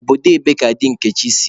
Obodo ebee ka di Nkechi si?